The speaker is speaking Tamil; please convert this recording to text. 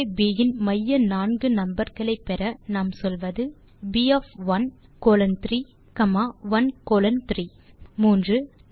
அரே ப் இன் மைய நான்கு நம்பர் களை பெற நாம் சொல்வது p of 1 colon 3 comma 1 colon 3ltநோவிக்கிக்ட் 3